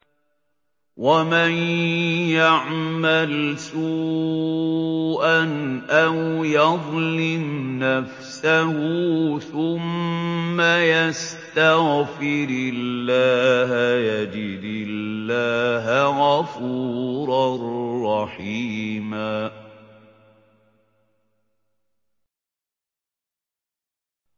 وَمَن يَعْمَلْ سُوءًا أَوْ يَظْلِمْ نَفْسَهُ ثُمَّ يَسْتَغْفِرِ اللَّهَ يَجِدِ اللَّهَ غَفُورًا رَّحِيمًا